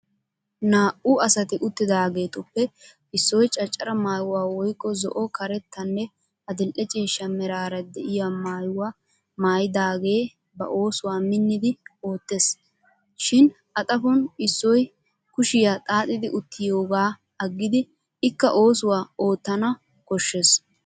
Naa'u asati uttidaageetuppe issoy caccara maayuwaa woykko zo'o karettanne adil'e ciishsha meraara de'iyaa maayuwa maayidagee ba oossuwa minnidi oottes. Shin a xaphon issoy kushiya xaaxidi uttiyoogaa aggidi ikka oosuwaa oottana koshshes.